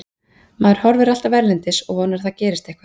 Maður horfir alltaf erlendis og vonar að það gerist eitthvað.